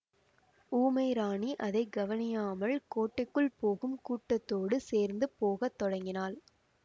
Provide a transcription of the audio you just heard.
ஊமை ராணி அதை கவனியாமல் கோட்டைக்குள் போகும் கூட்டத்தோடு சேர்ந்து போகத் தொடங்கினாள்